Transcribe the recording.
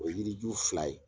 O ye yiri ju fila ye.